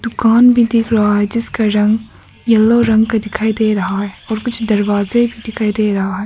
दुकान भी दिख रहा है जिसका रंग येलो रंग का दिखाई दे रहा है और कुछ दरवाजे भी दिखाई दे रहा है।